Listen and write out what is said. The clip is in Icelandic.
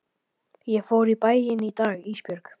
Ég fór í bæinn í dag Ísbjörg.